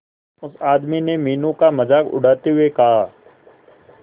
उस आदमी ने मीनू का मजाक उड़ाते हुए कहा